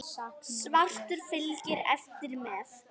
Svartur fylgir eftir með.